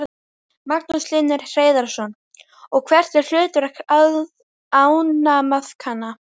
Magnús Hlynur Hreiðarsson: Og hvert er hlutverk ánamaðkanna?